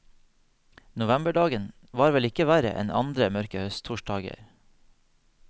Novemberdagen var vel ikke verre enn andre mørke høsttorsdager.